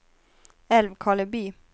Älvkarleby